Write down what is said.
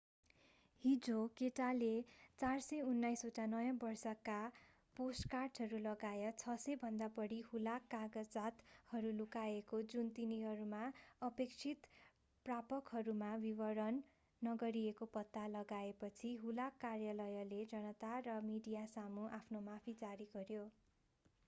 हिजो केटाले 429 ओटा नयाँ वर्षका पोस्टकार्टहरू लगायत 600 भन्दा बढी हुलाक कागजातहरू लुकाएको जुन तिनीहरूका अपेक्षित प्रापकहरूमा वितरण नगरिएको पत्ता लगाएपछि हुलाक कार्यालयले जनता र मिडियासामु आफ्नो माफी जारी गर्‍यो।